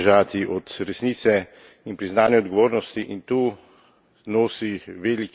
Ne smemo in ne moremo bežati od resnice in priznanja odgovornosti.